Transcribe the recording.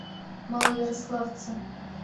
малоярославце